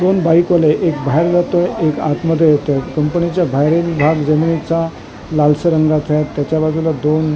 दोन भाई कोले एक बाहेर जातोय एक आत मध्ये येतोय कंपनीच्या बाहेर भाग जमिनीचा लालसर रंगा चा आहे त्याच्या बाजूला दोन --